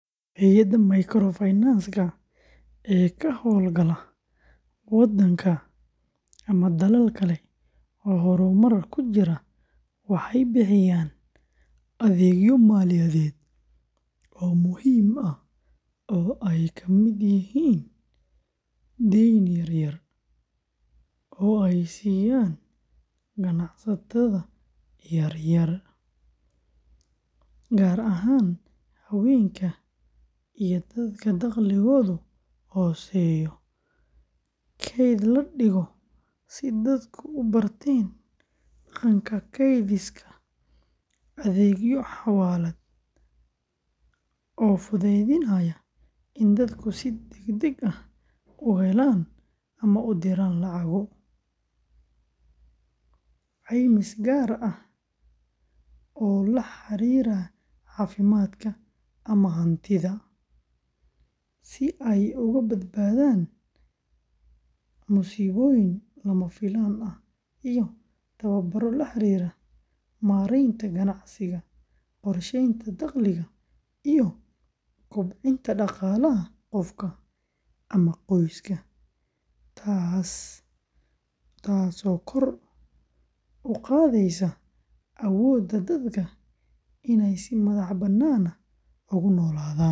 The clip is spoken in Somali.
Hay’adaha microfinance-ka ee ka hawlgala wadanka ama dalal kale oo horumar ku jira waxay bixiyaan adeegyo maaliyadeed oo muhiim ah oo ay ka mid yihiin deyn yar-yar oo ay siiyaan ganacsatada yaryar, gaar ahaan haweenka iyo dadka dakhligoodu hooseeyo; kayd la dhigo si dadku u barteen dhaqanka kaydsiga; adeegyo xawaalad oo fududeynaya in dadku si degdeg ah u helaan ama u diraan lacago; caymis gaar ah oo la xiriira caafimaadka ama hantida, si ay uga badbaadaan musiibooyin lama filaan ah; iyo tababaro la xiriira maaraynta ganacsiga, qorsheynta dakhliga, iyo kobcinta dhaqaalaha qofka ama qoyska, taasoo kor u qaadaysa awoodda dadka inay si madax-bannaan ugu noolaadaan.